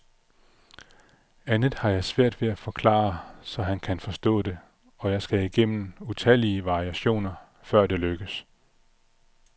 Andet har jeg svært ved at forklare, så han kan forstå det, og jeg skal igennem utallige variationer, før det lykkes.